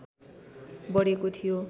बढेको थियो